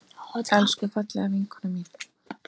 Elsku, fallega vinkona mín.